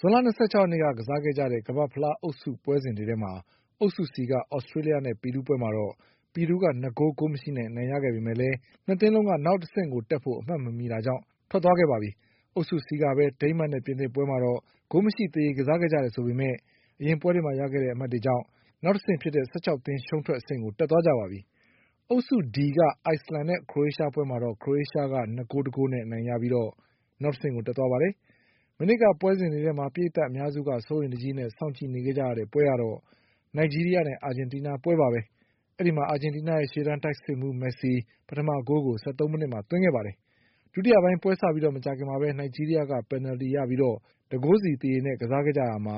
ဇွန်လ၂၆ရက်နေ့က ကစားခဲ့ကြတဲ့ ကမ္ဘာ့ဖလားအုပ်စုပွဲစဉ်တွေထဲမှာ အုပ်စု C က သြစတေးလျနဲ့ပီရူးပွဲမှာတော့ ပီရူးက ၂ဂိုး ဂိုးမရှိနဲ့အနိုင်ရခဲ့ပေမဲ့ လည်း ၂သင်းလုံးက နောက်တဆင့်တက်ဖို့အမှတ်မမှီတာကြောင့် ထွက်သွားခဲ့ပါပြီ။ အုပ်စု Cကပဲ ဒိန်းမတ်နဲ့ပြင်သစ်ပွဲမှာတော့ ဂိုးမရှိသရေကစားခဲ့ကြတယ်ဆိုပေမဲ့ အရင်ပွဲတွေမှာရခဲ့တဲ့အမှတ်တွေကြောင့် နောက်တဆင့် ဖြစ်တဲ့ ၁၆သင်းရှုံးထွက်အဆင့်ကို တက်သွားကြပါပြီ။ အုပ်စု D က အိုက်စလန်နဲ့ ခရိုအေးရှားပွဲမှာတော့ ခရိုအေးရှားက ၂ဂိုး၁ဂိုးနဲ့အနိုင်ရပြီး နောက်တဆင့်ကိုတက်သွားပါပြီ။ မနေ့ကပွဲစဉ်တွေထဲမှာ ပရိတ်သတ်အများစုက စိုးရိမ်တကြီးနဲ့ စောင့်ကြည့်နေခဲ့ရတဲ့ပွဲကတော့ နိုက်ဂျီးရီးယားနဲ့ အာဂျင်တီးနားပွဲပါပဲ။ အာဂျင်တီးနားရဲ့ရှေ့တန်းတိုက်စစ်မှုး မက်ဆီ ပထမဂိုးကို ၁၃မိနစ်မှာသွင်းပါတယ်။ ဒုတိယပိုင်းပွဲစပြီးမကြာခင်မှာပဲ နိုက်ဂျီးရီးယားက ပင်နလ်တီရပြီး ၁ဂိုးစီသရေနဲ့ ကစားခဲ့ရာက